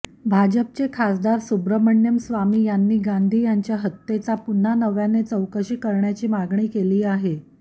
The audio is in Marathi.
भाजपचे खासदार सुब्रमण्यम स्वामी यांनी गांधी यांच्या हत्येचा पुन्हा नव्याने चौकशी करण्याची मागणी केली आहे